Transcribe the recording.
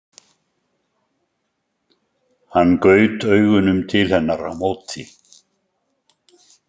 Hann gaut augunum til hennar á móti.